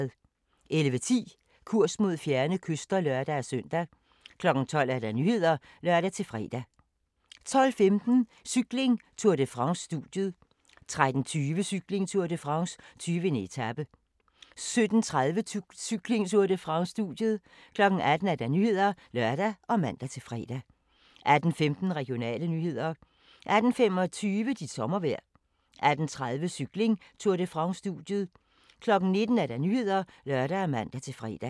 11:10: Kurs mod fjerne kyster (lør-søn) 12:00: Nyhederne (lør-fre) 12:15: Cykling: Tour de France - studiet 13:20: Cykling: Tour de France - 20. etape 17:30: Cykling: Tour de France - studiet 18:00: Nyhederne (lør og man-fre) 18:15: Regionale nyheder 18:25: Dit sommervejr 18:30: Cykling: Tour de France - studiet 19:00: Nyhederne (lør og man-fre)